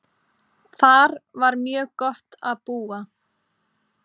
Þar var mjög gott að búa.